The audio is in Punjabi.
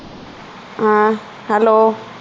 ਹੈ hello